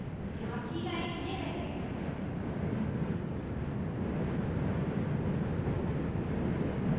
यहाँ कीलाइन यह है